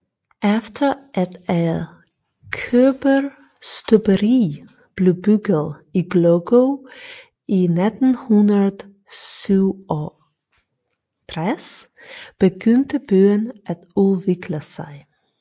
Efter at et kobberstøberi blev bygget i Głogów i 1967 begyndte byen at udvikle sig